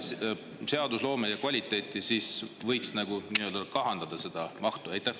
Et säilitada seadusloome kvaliteeti, võiks mahtu kahandada.